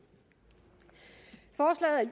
og